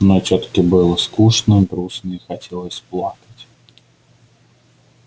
но тётке было скучно грустно и хотелось плакать